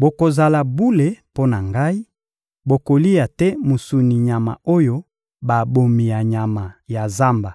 Bokozala bule mpo na Ngai: bokolia te mosuni ya nyama oyo babomi na nyama ya zamba;